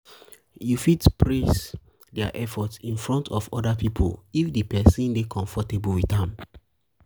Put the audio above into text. you fit praise fit praise their effort in front of oda pipo if di person dey comfortable with am